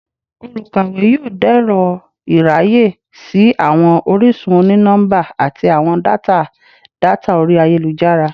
Olukawe yoo dẹrọ iraye si awọn orisun oni-nọmba ati awọn data data ori ayelujara